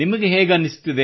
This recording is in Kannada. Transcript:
ನಿಮಗೆ ಹೇಗನ್ನಿಸುತ್ತದೆ